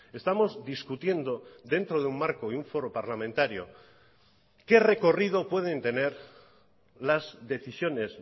estamos discutiendo dentro de un marco y un foro parlamentario qué recorrido pueden tener las decisiones